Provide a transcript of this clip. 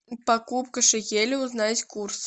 покупка шекелей узнать курс